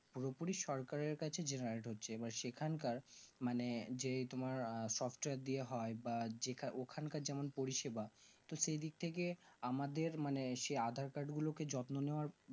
পুরোপুরি সরকারের কাছে generate হচ্ছে এবং সেখানকার মানে যে তোমার soptiyer দিয়ে হয় বা যেটা ওখানকার যেমন পরিসিবা তো সেই দিকথেকে আমাদের মানে সেই aadhaar card গুলোকে যত্ন নেওয়ার